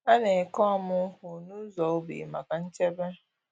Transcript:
A na-eke ọmụ nkwụ n’ụzọ ubi maka nchebe.